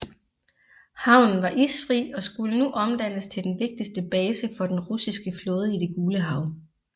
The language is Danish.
Havnen var isfri og skulle nu omdannes til den vigtigste base for den russiske flåde i Det Gule Hav